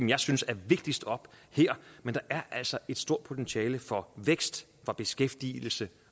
jeg synes er vigtigst op her men der er altså et stort potentiale for vækst og beskæftigelse